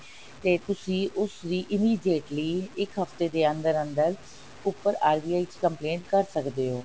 ਤੇ ਤੁਸੀ ਉਸਦੀ immediately ਇੱਕ ਹਫਤੇ ਦੇ ਅੰਦਰ ਅੰਦਰ ਉੱਪਰ RBI ਚ complaint ਕਰ ਸਕਦੇ ਹੋ